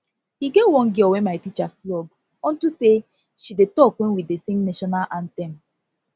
e get one girl wey my teacher flog unto say she dey talk wen we dey sing national anthem